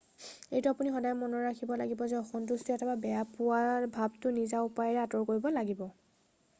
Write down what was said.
এইটো আপুনি সদায় মনত ৰাখিব লাগিব যে অসন্তুষ্টি অথবা বেয়া পোৱা ভাৱটো নিজা উপায়েৰে আঁতৰ কৰিব লগিব